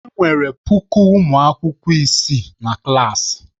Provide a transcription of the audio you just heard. Enwere puku ụmụ akwụkwọ isii na klaasị.